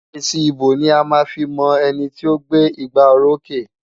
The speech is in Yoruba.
Èsì ìbò ni a máa fi mọ ẹni tí ó gbé igbárókè.